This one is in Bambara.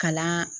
Kalan